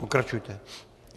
Pokračujte.